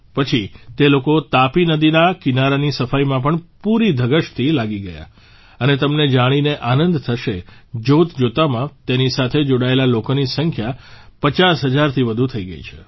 પછી તે લોકો તાપી નદીના કિનારાની સફાઇમાં પણ પૂરી ધગશથી લાગી ગયા અને તમને જાણીને આનંદ થશે જોતજોતામાં તેની સાથે જોડાયેલા લોકોની સંખ્યા 50 હજારથી વધુ થઇ ગઇ છે